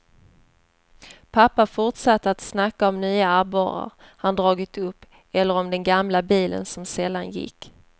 Pappa fortsatte att snacka om nya abborrar han dragit upp eller om den gamla bilen som sällan gick.